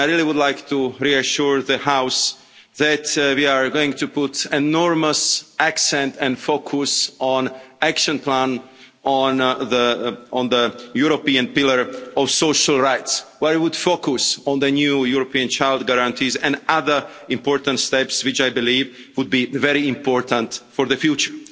I would like to reassure the House that we are going to put enormous emphasis and focus on the Action Plan on the European Pillar of Social Rights, where it would focus on the new European Child Guarantee and other important steps, which I believe would be very important for the future.